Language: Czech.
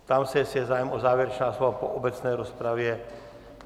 Ptám se, jestli je zájem o závěrečná slova po obecné rozpravě.